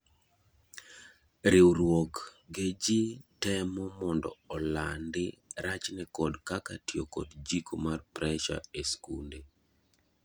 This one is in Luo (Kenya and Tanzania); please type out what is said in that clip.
riwruok ge ji temo mondo olanndi rachne kod kaka tiyo kod jiko mar presha e skunde